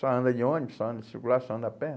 Só anda de ônibus, só anda de circulação, anda a pé.